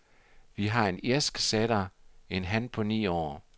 Vi har en irsk setter, en han på ni år.